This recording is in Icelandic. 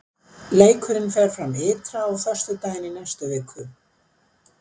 Leikurinn fer fram ytra á föstudaginn í næstu viku.